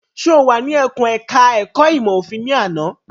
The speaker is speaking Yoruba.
Ṣé o wà ní ẹkùn ẹ̀ka ẹ̀kó ìmọ̀ òfin ní àná?